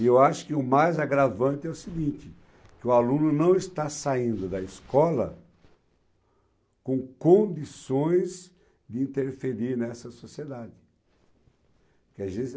E eu acho que o mais agravante é o seguinte, que o aluno não está saindo da escola com condições de interferir nessa sociedade.